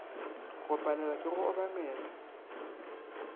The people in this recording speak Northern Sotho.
go palelwa ke go obamela